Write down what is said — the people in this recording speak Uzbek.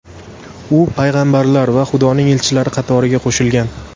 U payg‘ambarlar va Xudoning elchilari qatoriga qo‘shilgan.